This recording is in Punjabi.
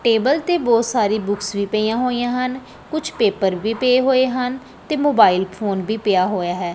ਟੇਬਲ ਤੇ ਬਹੁਤ ਸਾਰੀ ਬੁਕਸ ਵੀ ਪਈਆਂ ਹੋਈਆਂ ਹਨ ਕੁਝ ਪੇਪਰ ਵੀ ਪਏ ਹੋਏ ਹਨ ਤੇ ਮੋਬਾਇਲ ਫੋਨ ਵੀ ਪਿਆ ਹੋਇਆ ਹੈ।